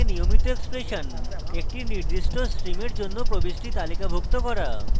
awk এ নিয়মিত expression একটি নির্দিষ্ট স্ট্রিমের জন্য প্রবিষ্টি তালিকাভুক্ত করা